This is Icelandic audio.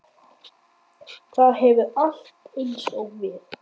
Það hefur allt eins og við.